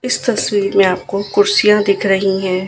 इस तस्वीर में आपको कुर्सियां दिख रहीं हैं।